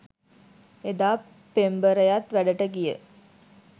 එදා පෙම්බරයත් වැඩට ගිය